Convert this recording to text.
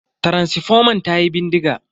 Taransifoman tayi bindiga.